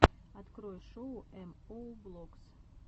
открой шоу эм оу влогс